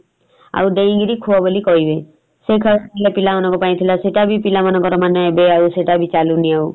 ଆଉ ଡେଇଁ କିରି ଖୁଅ ବୋଲି କହିବେ । ସେଇ ଖେଳ ବି ପିଲାମାନଙ୍କ ପାଇଁ ଥିଲା ସେଇଟା ବି ପିଲାମାନଙ୍କର ମାନେ ଏବେ ଆଉ ପିଲାମାନଙ୍କର ସେଟା ବି ଚାଲୁନି ଆଉ ।